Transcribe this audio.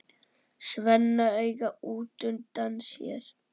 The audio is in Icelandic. Svenna auga útundan sér.